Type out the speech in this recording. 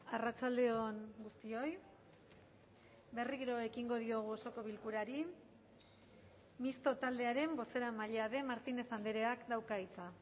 arratsalde on guztioi berriro ekingo diogu osoko bilkurari misto taldearen bozeramailea den martínez andreak dauka hitza